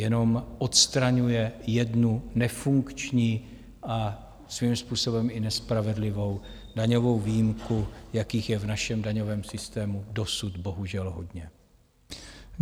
Jenom odstraňuje jednu nefunkční a svým způsobem i nespravedlivou daňovou výjimku, jakých je v našem daňovém systému dosud bohužel hodně.